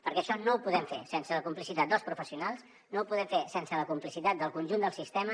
perquè això no ho podem fer sense la complicitat dels professionals no ho podem fer sense la complicitat del conjunt del sistema